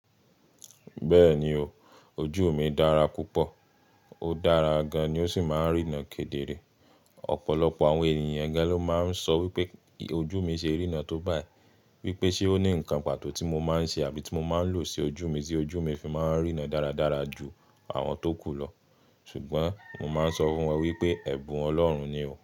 Bẹ́ẹ̀ni o, ojú mi dára púpọ̀, ó dára gan-an ni ó sì máa ń rína kedere. Ọ̀pọ̀lọpọ̀ àwọn èniyàn gan-an ló máa ń sọ wípé ojú mi ṣe rína tó báyi, wípé ṣe ó ní ǹkan pàtó tí mo máa ń ṣe àbí tí mo máa ń lò sí ojú mi tí ojú mi fi máa ń rína dáradára ju àwọn tó kù lọ. Ṣùgbọ́n mo máa ń sọ fún wọn wípé ẹ̀bùn ọlọ́run ni o.